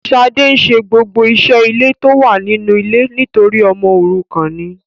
Shade nse gbogbo ise ile to wa ninu ile nitori omo orukan ni